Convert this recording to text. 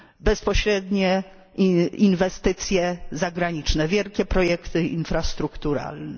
Bezpośrednie inwestycje zagraniczne, wielkie projekty infrastrukturalne.